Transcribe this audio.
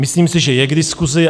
Myslím si, že je k diskusi.